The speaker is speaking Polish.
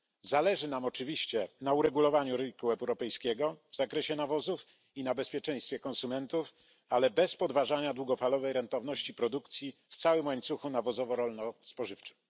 Zależy nam oczywiście na uregulowaniu rynku europejskiego w zakresie nawozów i na bezpieczeństwie konsumentów, ale bez podważania długofalowej rentowności produkcji w całym łańcuchu nawozowo rolno spożywczym.